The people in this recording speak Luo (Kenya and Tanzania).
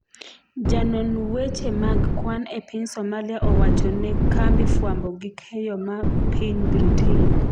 janon wache mag kwan e piny Somalia owacho ne kambi fwambo gi keyo ma piny Britain